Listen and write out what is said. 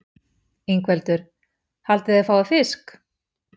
Ingveldur: Haldið þið að þið fáið fisk?